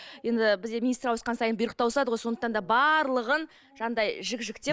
енді бізде министр ауысқан сайын бұйрық та ауысады ғой сондықтан да барлығын жаңағындай жік жіктеп